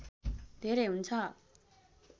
धेरै हुन्छ